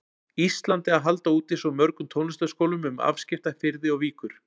Íslandi að halda úti svo mörgum tónlistarskólum um afskekkta firði og víkur.